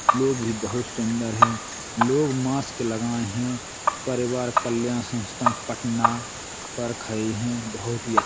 लोग भी बोहोत सुंदर है लोग मास्क लगाय हैं परिवार कल्या संस्था पटना पर खये हैं। बहुत ही --